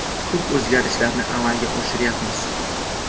Ko‘p o‘zgarishlarni amalga oshiryapmiz.